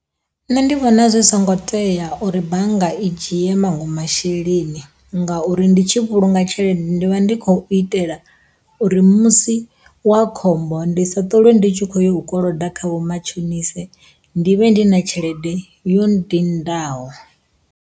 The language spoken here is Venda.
Nṋe ndi vhona zwi songo tea uri bannga i dzhie maṅwe masheleni ngauri ndi tshi vhulunga tshelede ndi vha ndi khou itela uri musi wa khombo ndi sa ṱolwe ndi tshi kho yo u koloda kha vhomatshonise ndi vhe ndi na tshelede yo nndindaho.